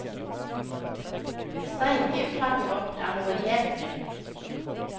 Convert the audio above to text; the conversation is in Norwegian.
Streikeuttaket vårt er noe helt nytt.